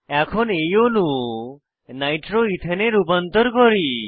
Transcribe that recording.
এখন এই অণু নাইট্রো ইথেন এ রূপান্তর করি